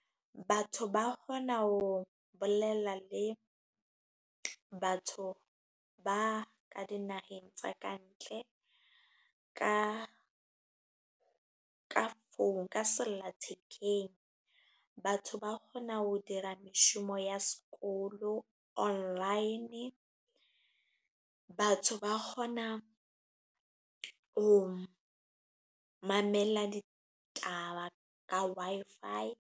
Batho ba kgona ho bolela le batho ba ka dinaheng tsa kantle. Ka ka founu, ka sellathekeng. Batho ba kgona ho dira meshomo ya sekolo online. Batho ba kgona ho mamela ditaba ka Wi-Fi.